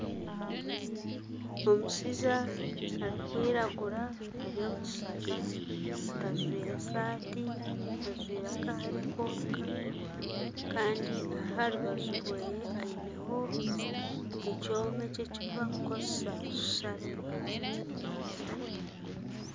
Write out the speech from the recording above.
Omushaija arikwiragura Ari omu kishaka gajwaire esaati ajwaire akahare konka Kandi aharubaju rwe aineho ekyoma eki eki barikukoresa kusara embaho